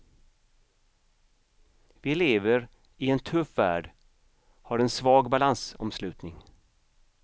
Vi lever i en tuff värld har en svag balansomslutning.